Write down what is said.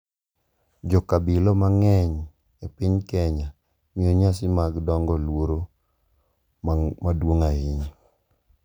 Jo-kabila mang’eny e piny Kenya miyo nyasi mag dongo luor maduong’ ahinya,